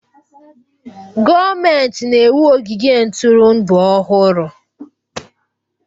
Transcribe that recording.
Gọọmentị na-ewu ogige ntụrụndụ ọhụrụ